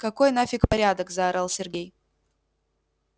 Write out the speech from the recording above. какой нафик порядок заорал сергей